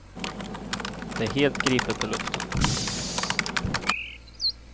Det är helt gripet ur luften.